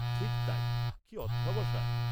-ঠিক তাই, কি অধ্যবসায়।